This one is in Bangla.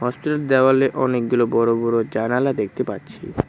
হোস্টেলের দেওয়ালে অনেকগুলো বড় বড় জানালা দেখতে পাচ্ছি ।